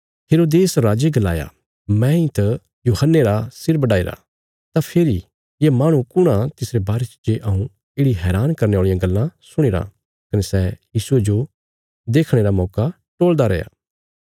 हेरोदेस राजे गलाया मैंई त यूहन्ने रा सिर बढाईरा तां फेरी ये माहणु कुण आ तिसरे बारे च जे हऊँ येढ़ि हैरान करने औल़ियां गल्लां सुणीराँ कने सै यीशुये जो देखणे रा मौका टोलदा रैया